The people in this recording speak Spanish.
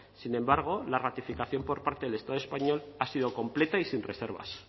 sin embargo la ratificación por parte del estado español ha sido completa y sin reservas